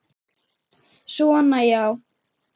Svona já.